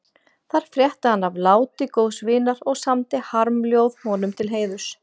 Þar frétti hann af láti góðs vinar og samdi harmljóð honum til heiðurs.